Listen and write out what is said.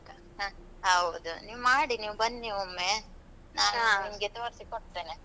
ಹ್ಮ ಹೌದು ನೀವ್ ಮಾಡಿ ನೀವು ಬನ್ನಿ ಒಮ್ಮೆ. ನಿಮ್ಗೇ ತೊರ್ಸಿಕೊಡ್ತೇನೆ.